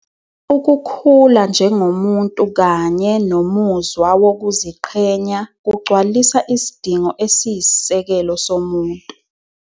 Ukukhula njengomuntu kanye nomuzwa wokuziqhenya kugcwalisa isidingo esiyisisekelo somuntu.